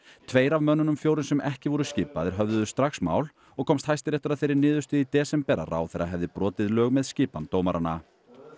tveir af mönnunum fjórum sem ekki voru skipaðir höfðuðu strax mál og komst Hæstiréttur að þeirri niðurstöðu í desember að ráðherra hefði brotið lög með skipan dómaranna